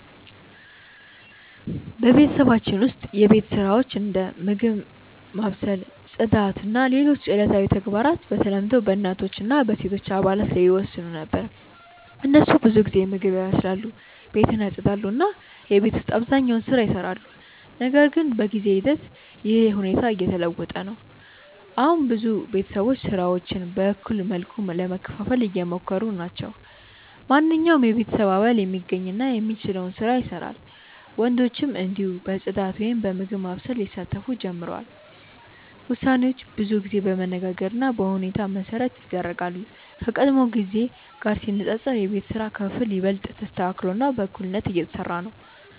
በቤተሰባችን ውስጥ የቤት ስራዎች እንደ ምግብ ማብሰል፣ ጽዳት እና ሌሎች ዕለታዊ ተግባራት በተለምዶ በእናቶች እና በሴቶች አባላት ላይ ይወሰኑ ነበር። እነሱ ብዙ ጊዜ ምግብ ያበስላሉ፣ ቤትን ያጽዳሉ እና የቤት ውስጥ አብዛኛውን ስራ ይሰራሉ። ነገር ግን በጊዜ ሂደት ይህ ሁኔታ እየተለወጠ ነው። አሁን ብዙ ቤተሰቦች ስራዎችን በእኩል መልኩ ለመከፋፈል እየሞከሩ ናቸው። ማንኛውም የቤተሰብ አባል የሚገኝ እና የሚችለውን ስራ ይሰራል፣ ወንዶችም እንዲሁ በጽዳት ወይም በምግብ ማብሰል ሊሳተፉ ጀምረዋል። ውሳኔዎች ብዙ ጊዜ በመነጋገር እና በሁኔታ መሠረት ይደረጋሉ፣ ከቀድሞ ጊዜ ጋር ሲነጻጸር የቤት ስራ ክፍፍል ይበልጥ ተስተካክሎ እና በእኩልነት እየተሰራ ነው።